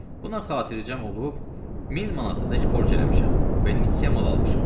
Buna xatircəm olub min manatadək borc eləmişəm və nisye mal almışam.